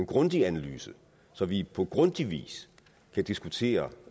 grundig analyse så vi på grundig vis kan diskutere